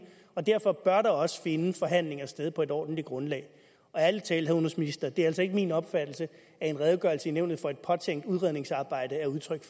og derfor bør der også finde forhandlinger sted på et ordentligt grundlag ærlig talt udenrigsministeren det er altså ikke min opfattelse at en redegørelse i nævnet for et påtænkt udredningsarbejde er udtryk